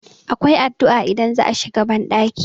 akwai addu'a idan za a shiga bandaki